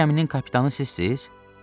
Bu gəminin kapitanı sizsiz?